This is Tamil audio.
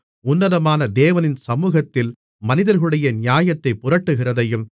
உன்னதமான தேவனின் சமுகத்தில் மனிதர்களுடைய நியாயத்தைப் புரட்டுகிறதையும்